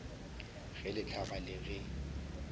ge le hlaba le ge